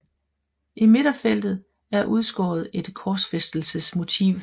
I midterfeltet er udskåret et korsfæstelsesmotiv